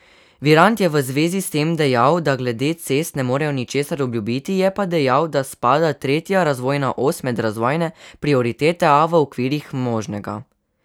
Virant je v zvezi s tem dejal, da glede cest ne morejo ničesar obljubiti, je pa dejal, da spada tretja razvojna os med razvojne prioritete, a v okvirih možnega.